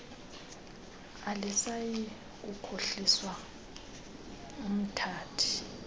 alisayi kukhohlisa umthathi